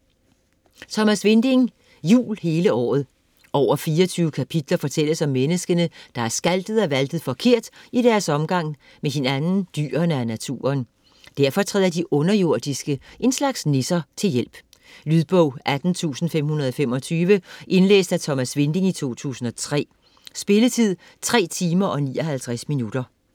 Winding, Thomas: Jul hele året Over 24 kapitler fortælles om menneskene, der har skaltet og valtet forkert i deres omgang med hinanden, dyrene og naturen. Derfor træder de underjordiske - en slags nisser - til hjælp. Lydbog 18525 Indlæst af Thomas Winding, 2003. Spilletid: 3 timer, 59 minutter.